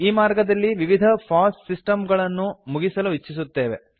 ಈ ಮಾರ್ಗದಲ್ಲಿ ವಿವಿಧ ಫಾಸ್ ಸಿಸ್ಟಮ್ಸ್ ಗಳನ್ನು ಮುಗಿಸಲು ಇಚ್ಚಿಸುತ್ತೇವೆ